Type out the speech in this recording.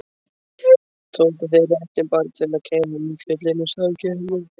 Tóku þeir réttinn bara til að kæfa umfjöllun og samkeppni?